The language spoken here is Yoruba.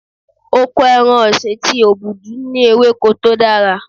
Oko ẹran ọ̀sìn ti Obudu ní ewéko tó dára.